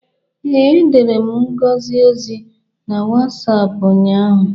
Ee, edere m Ngozi ozi na Wasapụ ụnyaahụ.